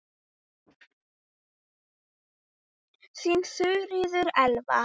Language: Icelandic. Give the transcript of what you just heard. Þín Þuríður Elva.